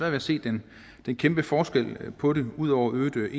at se den kæmpe forskel på det ud over øget